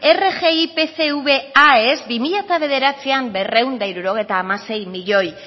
rgi pcv aes bi mila bederatzian berrehun eta hirurogeita hamasei milioi